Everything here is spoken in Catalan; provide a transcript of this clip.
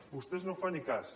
vostè no en fa ni cas